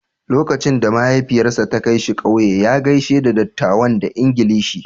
Lokacin da mahaifiyarsa ta kai shi kauye, ya gaishe da dattawan da Ingilishi.